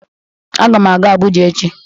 Agam aga Abụja echi